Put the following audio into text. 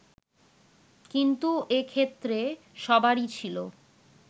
কিন্তু এ ক্ষেত্রে সবারই ছিল